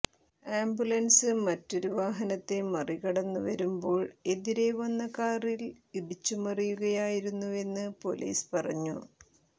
ambulance മറ്റൊരു വാഹനത്തെ മറികടന്ന് വരുമ്പോൾ എതിരെ വന്ന കാറിൽ ഇടിച്ചുമറിയുകയായിരുന്നുവെന്ന് പൊലീസ് പറഞ്ഞു